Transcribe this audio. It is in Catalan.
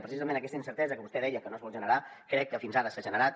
precisament aquesta incertesa que vostè deia que no es vol generar crec que fins ara s’ha generat